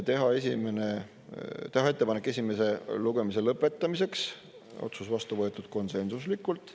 Teha ettepanek esimese lugemise lõpetamiseks, otsus vastu võetud konsensuslikult.